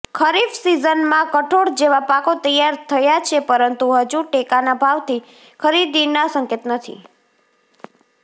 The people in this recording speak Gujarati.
ખરીફ સિઝનમાં કઠોળ જેવા પાકો તૈયાર થયા છે પરંતુ હજુ ટેકાના ભાવથી ખરીદીના સંકેત નથી